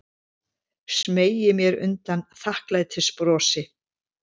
Smeygi mér undan þakklætisbrosi.